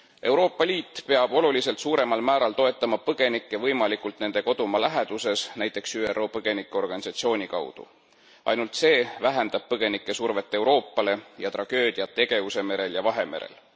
Euroopa Liit peab oluliselt suuremal määral toetama põgenikke võimalikult nende kodumaa lähenduses, näiteks ÜRO põgenikeorganisatsiooni kaudu. Ainult see vähendab põgenike survet Euroopale ja tragöödiat Egeuse merel ja Vahemerel.